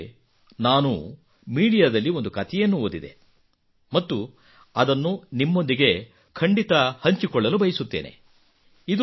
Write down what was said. ಇತ್ತೀಚೆಗೆ ನಾನು ಮೀಡಿಯಾದಲ್ಲಿ ಒಂದು ಕತೆಯನ್ನು ಓದಿದೆ ಮತ್ತು ಅದನ್ನು ನಿಮ್ಮೊಂದಿಗೆ ಖಂಡಿತಾ ಹಂಚಿಕೊಳ್ಳಲು ಬಯಸುತ್ತೇನೆ